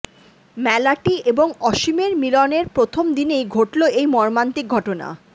মেলাটি এবং অসীমের মিলনের প্রথম দিনেই ঘটল এই মর্মান্তিক ঘটনা